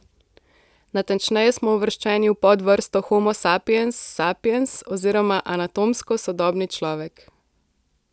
Natančneje smo uvrščeni v podvrsto homo sapiens sapiens oziroma anatomsko sodobni človek.